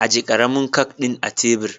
ajiye karamin kak din a tebur.